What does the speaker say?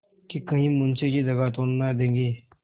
कि कहीं मुंशी जी दगा तो न देंगे